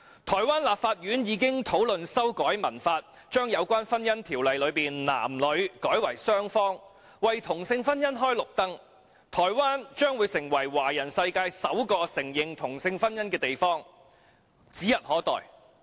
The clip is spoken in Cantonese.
台灣立法院已討論修改《民法》，把有關婚姻條文中的"男女"改為"雙方"，為同性婚姻開綠燈，台灣成為華人世界首個承認同性婚姻的地方，指日可待。